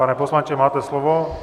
Pane poslanče, máte slovo.